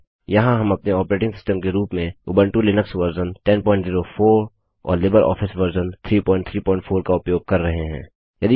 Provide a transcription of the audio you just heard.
यहाँ हम अपने ऑपरेटिंग सिस्टम के रूप में उबंटु लिनक्स वर्जन 1004 और लिबर ऑफिस वर्जन 334 का उपयोग कर रहे हैं